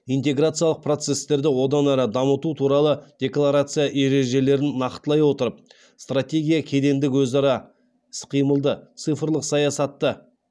интеграциялық процесстерді одан ары дамыту туралы декларация ережелерін нақтылай отырып стратегия кедендік өзара іс қимылды цифрлық саясатты